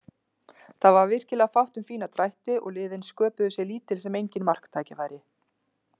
Það var virkilega fátt um fína drætti og liðin sköpuðu sér lítil sem engin marktækifæri.